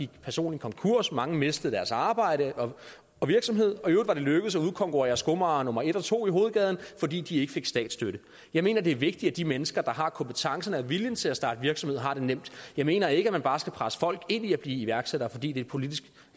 personlig konkurs mange mistede deres arbejde og virksomhed og i øvrigt var det lykkedes at udkonkurrere skomager nummer en og to i hovedgaden fordi de ikke fik statsstøtte jeg mener det er vigtigt at de mennesker der har kompetencen og vilje til at starte virksomhed har det nemt jeg mener ikke man bare skal presse folk ind i at blive iværksættere fordi det politisk